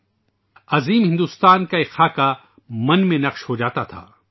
وسیع و عریض ہندوستان کا ایک نقشہ ذہن میں نقش ہوجاتا تھا